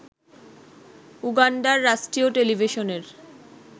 উগান্ডার রাষ্ট্রীয় টেলিভিশনের